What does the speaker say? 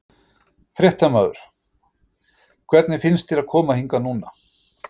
Fréttamaður: Hvernig finnst þér að koma hingað núna?